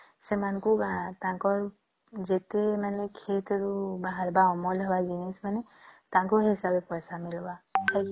ସେମାନଙ୍କୁ ତାଙ୍କର ଯେତେ ମାନେ ଖେତ ରୁ ବହିରିବା ଅମଳ ହବ ଜିନିଷ ନାଇଁ ତାଙ୍କୁ sell କଲେ ପଇସା ମିଳିବ